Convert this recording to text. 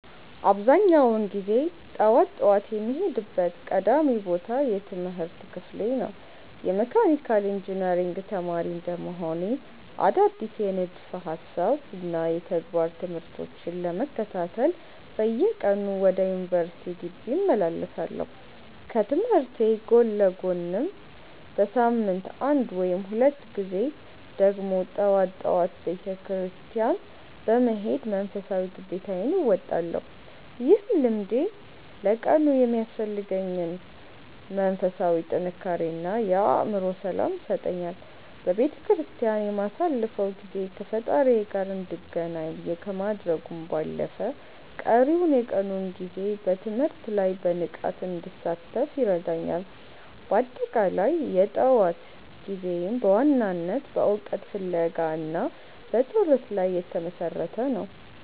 አብዛኛውን ጊዜ ጠዋት ጠዋት የምሄድበት ቀዳሚው ቦታ የትምህርት ክፍሌ ነው። የመካኒካል ኢንጂነሪንግ ተማሪ እንደመሆኔ፣ አዳዲስ የንድፈ ሃሳብና የተግባር ትምህርቶችን ለመከታተል በየቀኑ ወደ ዩኒቨርሲቲው ግቢ እመላለሳለሁ። ከትምህርቴ ጎን ለጎንም በሳምንት አንድ ወይም ሁለት ጊዜ ደግሞ ጠዋት ጠዋት ወደ ቤተክርስቲያን በመሄድ መንፈሳዊ ግዴታዬን እወጣለሁ። ይህ ልምዴ ለቀኑ የሚያስፈልገኝን መንፈሳዊ ጥንካሬ እና የአእምሮ ሰላም ይሰጠኛል። በቤተክርስቲያን የማሳልፈው ጊዜ ከፈጣሪዬ ጋር እንድገናኝ ከማድረጉም ባለፈ፣ ቀሪውን የቀኑን ጊዜ በትምህርቴ ላይ በንቃት እንድሳተፍ ይረዳኛል። በአጠቃላይ፣ የጠዋት ጊዜዬ በዋናነት በእውቀት ፍለጋ እና በጸሎት ላይ የተመሰረተ ነው።